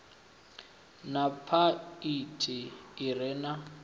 na phaiphi i re na